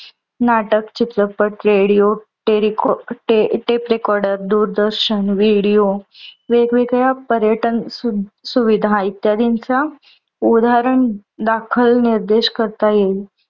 नाटक, चित्रपट, radio, tape recorder, दूरदर्शन, video वेगवेगळ्या पर्यटन सुविधा इत्यादीनचा उदाहरण दाखल निर्देश करता येईल.